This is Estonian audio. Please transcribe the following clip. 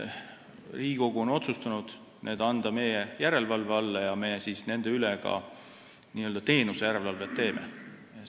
Riigikogu on otsustanud anda kiirlaenu andjad meie järelevalve alla ja meie teeme nende üle n-ö teenuse järelevalvet.